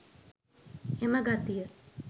එම ගතිය